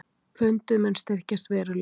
Pundið mun styrkjast verulega